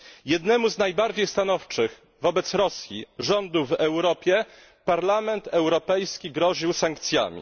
Jednemu z najbardziej stanowczych wobec Rosji rządów w Europie Parlament Europejski groził sankcjami.